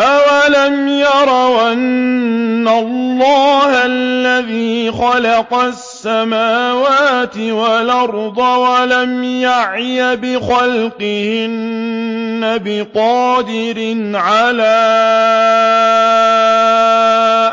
أَوَلَمْ يَرَوْا أَنَّ اللَّهَ الَّذِي خَلَقَ السَّمَاوَاتِ وَالْأَرْضَ وَلَمْ يَعْيَ بِخَلْقِهِنَّ بِقَادِرٍ عَلَىٰ